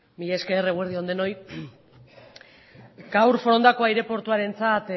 mila esker eguerdi on denoi gaur forondako aireportuarentzat